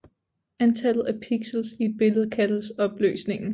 Antallet af pixels i et billede kaldes opløsningen